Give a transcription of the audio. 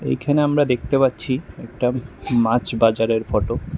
এইখানে আমরা দেখতে পাচ্ছি একটা মাছ বাজারের ফটো ।